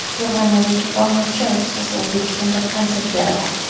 Germaniyalik violonchel ustasi O‘zbekistonda konsert beradi.